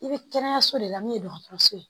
I bɛ kɛnɛyaso de la min ye dɔgɔtɔrɔso ye